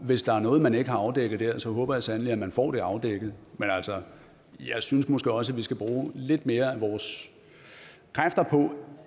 hvis der er noget man ikke har afdækket der håber jeg sandelig at man får det afdækket men altså jeg synes måske også at vi skal bruge lidt flere af vores kræfter på